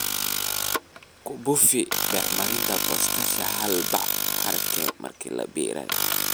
kubufi bacriminta potash hal bac/acre marka la beerayo